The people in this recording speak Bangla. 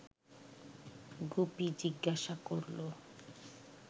গুপি জিজ্ঞাসা করল